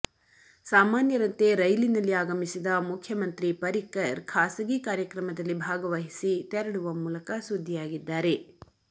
ಸಾಮಾನ್ಯರಂತೆ ರೈಲಿನಲ್ಲಿ ಆಗಮಿಸಿದ ಮುಖ್ಯಮಂತ್ರಿ ಪರಿಕ್ಕರ್ ಖಾಸಗಿ ಕಾರ್ಯಕ್ರಮದಲ್ಲಿ ಭಾಗವಹಿಸಿ ತೆರಳುವ ಮೂಲಕ ಸುದ್ದಿಯಾಗಿದ್ದಾರೆ